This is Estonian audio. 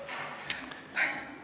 Ärge seda tehke!